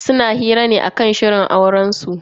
Suna hira ne akan shirin aurensu.